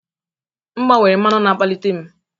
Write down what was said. M gbanwere mmanụ na-akpalite m